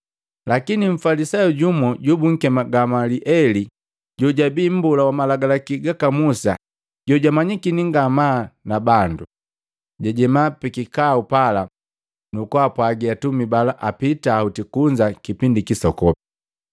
Lakini mfalisayu jumu jobunkema Gamalieli, jojabii Mbola wa Malagalaki gaka Musa jojamanyikini ngamaa nabandu, jajema pikikau pala, nukupwaga atumi bala apita hoti kunza kipindi kisokopi.